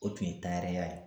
O tun ye tayɛriya ye